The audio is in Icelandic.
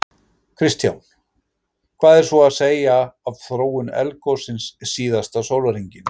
Kristján: Hvað er svo að segja af þróun eldgossins síðasta sólarhringinn?